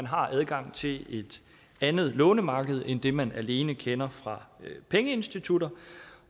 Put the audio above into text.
har adgang til et andet lånemarked end det man alene kender fra pengeinstitutter